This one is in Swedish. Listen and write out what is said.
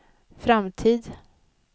framtid